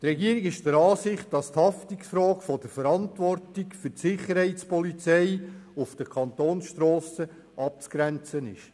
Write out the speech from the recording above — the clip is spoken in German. Die Regierung ist der Ansicht, dass die Haftungsfrage von der Verantwortung der Sicherheitspolizei für die Kantonsstrassen abzugrenzen ist.